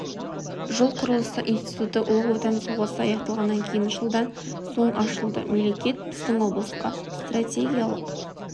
жол құрылысы институты ұлы отан соғысы аяқталғаннан кейін жылдан соң ашылды мемлекет біздің облысқа стратегиялық